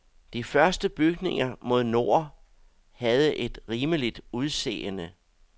De første bygninger mod nord havde et rimeligt udseende.